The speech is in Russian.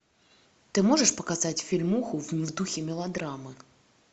ты можешь показать фильмуху в духе мелодрамы